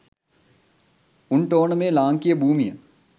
උන්ට ඕන මේ ලාංකිය භූමිය